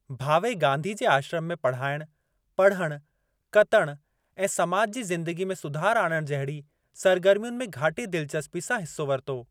भावे गांधी जे आश्रम में पढ़ाइण, पढ़ण, कतण ऐं समाज जी ज़िदंगी में सुधार आणणु जहिड़ी सरगर्मियुनि में घाटी दिलचस्पी सां हिस्सो वरितो।